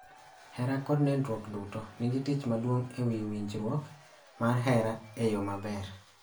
Hera kod nindruok duto nigi tich maduong� e winjruok mar hera e yo maber